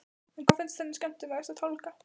En hvað finnst henni skemmtilegast að tálga?